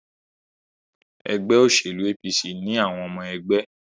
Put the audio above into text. Ẹgbẹ́ òṣèlú APC ni àwọn ọmọ ẹgbẹ́.